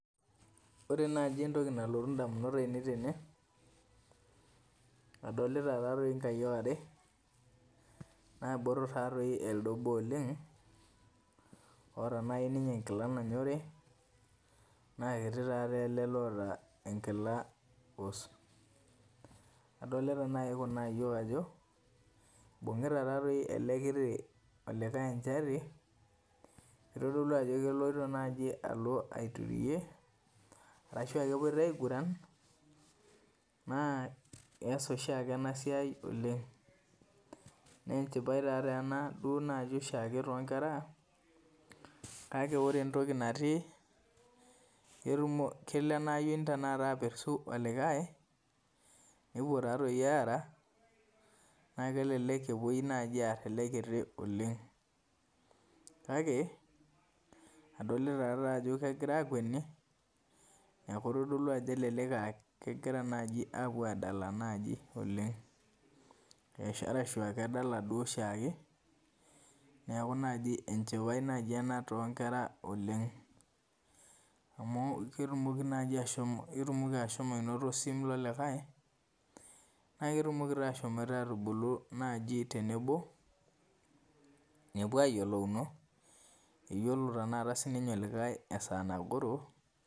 Ore entoki nalotu damunot ainei tene. adolita taadoi nkayiok are, naabotor taa too elde obo oleng. oota naaji ninye enkila nanyorri. naa kiti ele oota enkila pus. adolita naaji Kuna ayiok ajo, ibung'ita ele kiti, olikae enchati. kitodolu ajo keloito naaji ashu a kepoito aiguran. naa keesa oshiake ena siai oleng. naa enchipai ena too nkera. kake ore entoki natii kelo ena yioni apertu olikae. nepup aara. naa kelelku naji epuoi aar ele kiti oleng. adolita ajo kegira akueni neeku ebaiki naa kegira aapuo adala, ashu edala oshiake. neeku naaji enchipai naaji ena too nkera oleng. amu ketumoki ashomo anoto osim lolikae ,nepuo ayiolounu, eyiolo tenakata olikae esaa nagoro.